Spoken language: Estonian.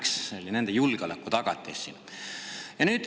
oli nende julgeolekutagatis siin.